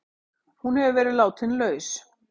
Hún hefur verið látin laus